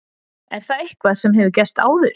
Er það eitthvað sem hefur gerst áður?